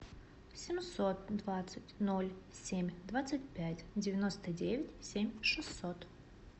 семьсот двадцать ноль семь двадцать пять девяносто девять семь шестьсот